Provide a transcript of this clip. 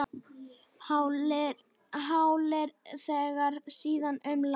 Hálir vegir víða um land